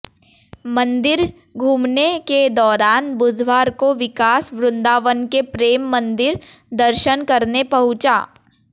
मंदिर घूमने के दौरान बुधवार को विकास वृंदावन के प्रेम मंदिर दर्शन करने पहुंचा